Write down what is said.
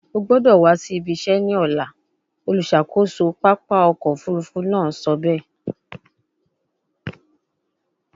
O gbọdọ wa si ibi se ni ọla, oluṣakoso papa ọkọ ofurufu naa sọ be